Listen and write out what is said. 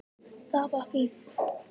Það var fínt.